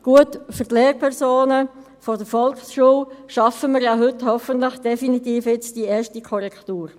Gut, für die Lehrpersonen der Volksschule schaffen wir ja heute hoffentlich definitiv die erste Korrektur.